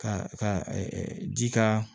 Ka ka ji ka